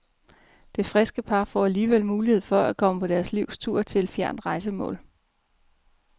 Det friske par får alligevel mulighed for, at komme på deres livs tur til et fjernt rejsemål.